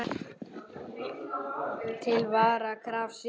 Til vara er krafist sýknu.